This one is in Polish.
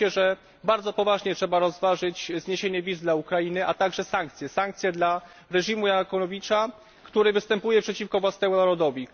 Wydaje mi się, że bardzo poważnie trzeba rozważyć zniesienie wiz dla Ukrainy, a także sankcje, sankcje dla reżimu Janukowycza, który występuje przeciwko własnemu narodowi.